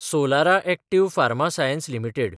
Solara active pharma science limited